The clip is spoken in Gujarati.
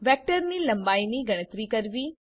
વેક્ટરની લંબાઈની ગણતરી કરવી